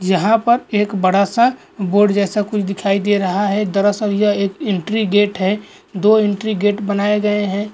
यहाँ पर एक बड़ा सा बोर्ड जैसा कुछ दिखाई दे रहा है दरअसल यह एक इंट्री गेट है दो इंट्री गेट बनाए गए हैं --